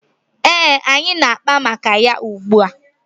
Ee, anyị na-akpa maka ya ugbua.